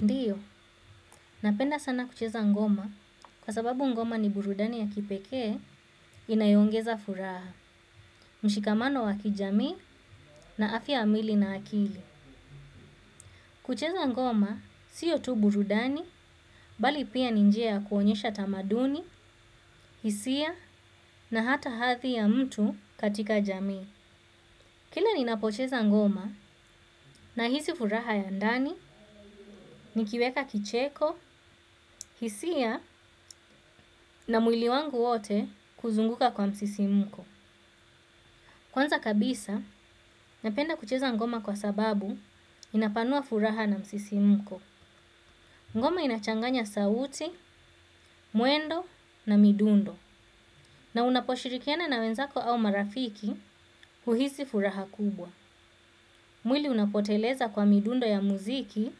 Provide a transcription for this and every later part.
Ndiyo, napenda sana kucheza ngoma kwa sababu ngoma ni burudani ya kipekee inayoongeza furaha, mshikamano wa kijami na afya ya mwili na akili. Kucheza ngoma siyo tu burudani, bali pia ni njia ya kuonyesha tamaduni, hisia na hata hadhi ya mtu katika jami. Kila ninapocheza ngoma nahisi furaha ya ndani nikiweka kicheko, hisia na mwili wangu wote kuzunguka kwa msisimko. Kwanza kabisa, napenda kucheza ngoma kwa sababu inapanua furaha na msisimko. Ngoma inachanganya sauti, mwendo na midundo. Na unaposhirikiana na wenzako au marafiki uhisi furaha kubwa. Mwili unapoteleza kwa midundo ya muziki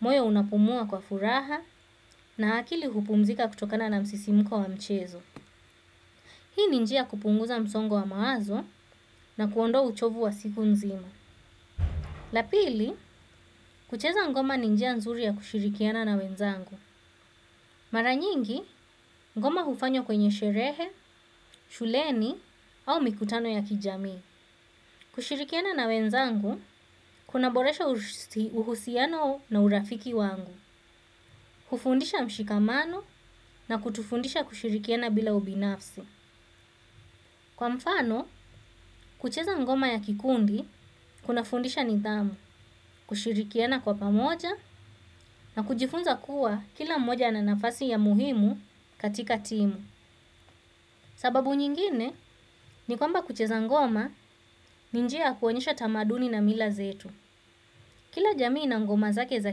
moyo unapumua kwa furaha na akili hupumzika kutokana na msisimko wa mchezo. Hii ni njia ya kupunguza msongo wa mawazo na kuondoa uchovu wa siku nzima. La pili, kucheza ngoma ni njia nzuri ya kushirikiana na wenzangu. Mara nyingi, ngoma hufanywa kwenye sherehe, shuleni au mikutano ya kijamii. Kushirikiana na wenzangu, kunaboresha uhusiano na urafiki wangu. Hufundisha mshikamano na kutufundisha kushirikiana bila ubinafsi. Kwa mfano, kucheza ngoma ya kikundi, kunafundisha nidhamu, kushirikiana kwa pamoja na kujifunza kuwa kila mmoja ana nafasi ya muhimu katika timu. Sababu nyingine, ni kwamba kucheza ngoma ni njia ya kuonyesha tamaduni na mila zetu. Kila jamii ina ngoma zake za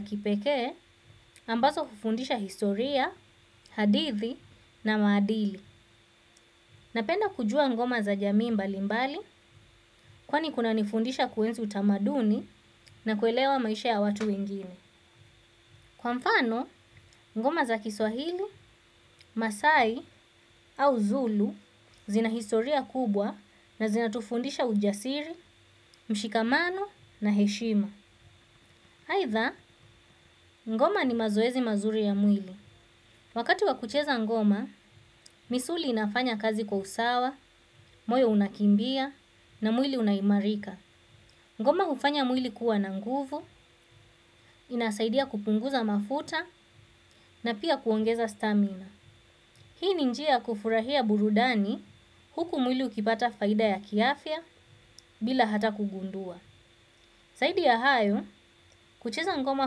kipekee, ambazo hufundisha historia, hadithi na maadili. Napenda kujua ngoma za jamii mbali mbali kwani kunanifundisha kuenzi utamaduni na kuelewa maisha ya watu wengine. Kwa mfano, ngoma za kiswahili, masai au zulu zina historia kubwa na zinatufundisha ujasiri, mshikamano na heshima. Haidha, ngoma ni mazoezi mazuri ya mwili. Wakati wa kucheza ngoma, misuli inafanya kazi kwa usawa, moyo unakimbia na mwili unaimarika. Ngoma hufanya mwili kuwa na nguvu, inasaidia kupunguza mafuta na pia kuongeza stamina. Hii ni njia kufurahia burudani huku mwili ukipata faida ya kiafya bila hata kugundua. Zaidi ya hayo, kucheza ngoma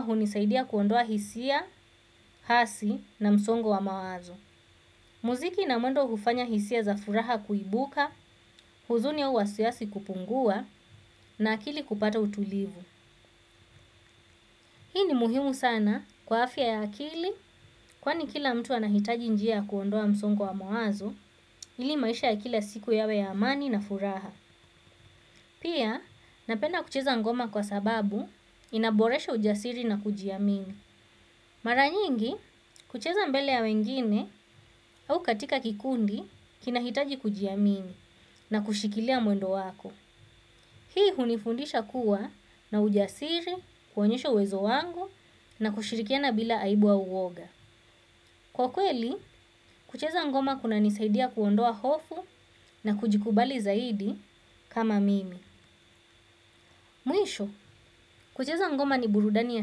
hunisaidia kuondoa hisia, hasi na msongo wa mawazo. Muziki na mwendo hufanya hisia za furaha kuibuka, huzuni au wasiwasi kupungua na akili kupata utulivu. Hii ni muhimu sana kwa afya ya akili kwani kila mtu anahitaji njia kuondoa msongo wa mawazo ili maisha ya kila siku yawe ya amani na furaha. Pia napenda kucheza ngoma kwa sababu inaboresha ujasiri na kujiamini mara nyingi kucheza mbele ya wengine au katika kikundi kinahitaji kujiamini na kushikilia mwendo wako. Hii hunifundisha kuwa na ujasiri, kuonyesho uwezo wangu na kushirikiana bila aibu au woga. Kwa kweli, kucheza ngoma kuna nisaidia kuondoa hofu na kujikubali zaidi kama mimi. Muisho, kucheza ngoma ni burudani ya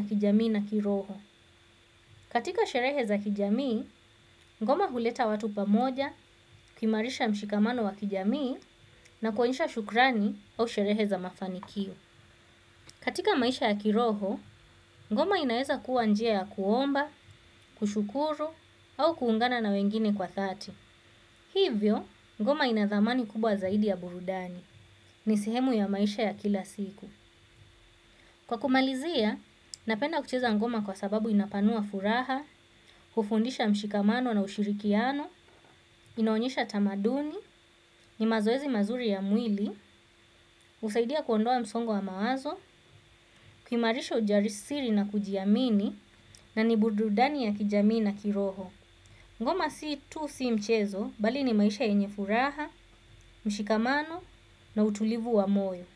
kijamii na kiroho. Katika sherehe za kijamii, ngoma huleta watu pamoja, kimarisha mshikamano wa kijamii na kuonyesha shukrani au sherehe za mafanikio. Katika maisha ya kiroho, ngoma inaeza kuwa njia ya kuomba, kushukuru, au kuungana na wengine kwa thati. Hivyo, ngoma inadhamani kubwa zaidi ya burudani, nisihemu ya maisha ya kila siku. Kwa kumalizia, napenda kucheza ngoma kwa sababu inapanua furaha, kufundisha mshikamano na ushirikiano, inaonyesha tamaduni, ni mazoezi mazuri ya mwili, usaidia kuondoa msongo wa mawazo. Kuimarisha ujarisiri na kujiamini na nibududani ya kijamii na kiroho. Ngoma si tu si mchezo balini maisha enyefuraha, mshikamano na utulivu wa moyo.